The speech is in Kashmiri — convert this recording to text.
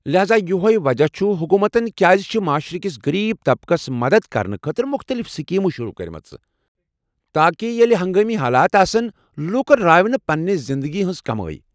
لحاذا یۄہے وجہہ چُھ حکومتن كیازِ چھِ معاشرٕ کس غریب طبقس مدتھ کرنہٕ خٲطرٕ مُختلف سکیمہٕ شروع کرِمژٕ ، تاکہ ییلہٕ ہنگٲمی حالات آسن ، لوُکن راوِ نہٕ پننہِ زِندگی ہنز کمٲیۍ ۔